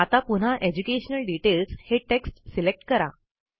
आता पुन्हा educational details हे टेक्स्ट सिलेक्ट करा